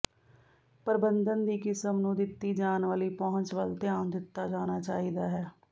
ਪ੍ਰਬੰਧਨ ਦੀ ਕਿਸਮ ਨੂੰ ਦਿੱਤੀ ਜਾਣ ਵਾਲੀ ਪਹੁੰਚ ਵੱਲ ਧਿਆਨ ਦਿੱਤਾ ਜਾਣਾ ਚਾਹੀਦਾ ਹੈ